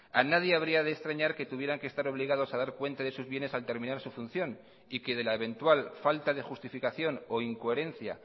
a nadie habría de extrañar que tuvieran que estar obligados a dar cuenta de sus bienes al terminar su función y que de la eventual falta de justificación o incoherencia